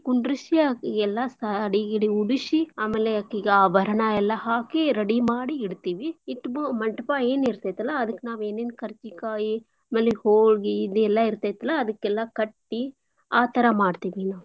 ಕುಂದ್ರುಶಿ ಅಕಿಗೆಲ್ಲಾ शादी ಗೀಡಿ ಉಡಿಶಿ ಆಮೇಲೆ ಅಕಿಗ್ ಆಭರಣ ಎಲ್ಲಾ ಹಾಕಿ ready ಮಾಡಿ ಇಡ್ತೀವಿ. ಇಟ್ಬು ಮಂಟಪಾ ಏನ್ ಇರ್ತೇತಲ್ಲಾ ಅದಕ್ ನಾವ್ ಏನೇನ್ ಕರ್ಜಿ ಕಾಯಿ ಅಮೇಲೆ ಹೋಳ್ಗೀ ಇದೆಲ್ಲಾ ಇರ್ತೇತ್ಲಾ ಅದುಕ್ಕೆಲ್ಲಾ ಕಟ್ಟಿ ಆ ತರಾ ಮಾಡ್ತೀವಿ ಇನ್ನು.